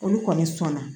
Olu kɔni sɔn na